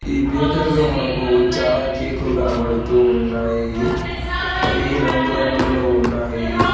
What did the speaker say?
ఈ బేకరీ లో మనకు చాలా కేకు లు కనబడుతూ ఉన్నాయి అవి రంగు రంగులలో ఉన్నాయి.